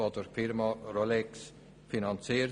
Die Campus Hall wird durch die Firma Rolex finanziert.